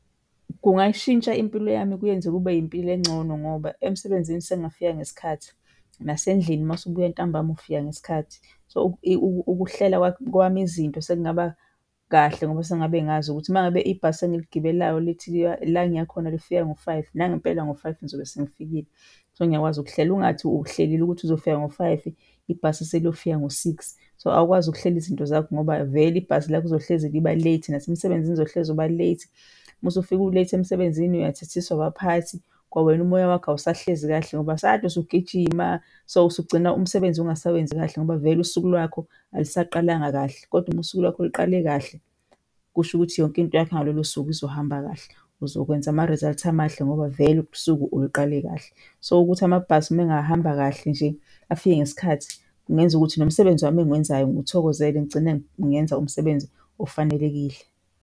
Kungayishintsha impilo yami kuyenze kube impilo engcono ngoba emsebenzini sengingafika ngesikhathi, nasendlini uma usubuya ntambama ufika ngesikhathi, so ukuhlela kwami izinto sekungaba kahle ngoba sengabe ngazi ukuthi uma ngabe ibhasi engiligibelayo lithi la engiya khona lifika ngo-five, nangempela ngo-five ngizobe sengifikile. So, ngiyakwazi ukuhlela. Ungathi uhlelele ukuthi uzofika ngo-five, ibhasi seliyofika ngo-six. So, awukwazi ukuhlela izinto zakho ngoba vele ibhasi lakho lizohlezi liba-late. Nasemsebenzini uzohlezi uba-late. Uma usufika u-late emsebenzini uyathethiswa abaphathi, kwawena umoya wakho awusahlezi kahle ngoba sade usugijima. So usugcina umsebenzi ungasewezi kahle ngoba vele usuku lwakho alusaqalanga kahle. Kodwa uma usuku lwakho liqale kahle kusho ukuthi yonke into yakhe ngalolo suku izohamba kahle, uzokwenza ama-result amahle ngoba vele usuku uluqale kahle. So, ukuthi amabhasi uma engahamba kahle nje afike ngesikhathi, kungenza ukuthi nomsebenzi wami engiwenzayo ngiwuthokozele ngigcine ngenza umsebenzi ofanelekile.